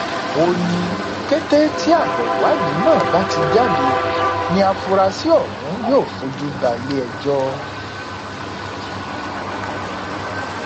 ó ní kété tí abo ìwádìí náà bá ti jáde ní àfúráṣí ọhún yóò fojú balẹẹjọ